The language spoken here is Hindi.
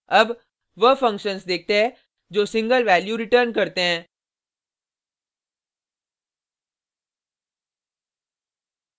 अब वह फंक्शन्स देखते है जो सिंगल वैल्यू रिटर्न करते हैं